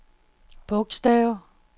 bogstav